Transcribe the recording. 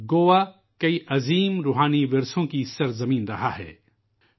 گوا متعدد روحانی ورثے کی سرزمین کی حیثیت سے جانا جاتا ہے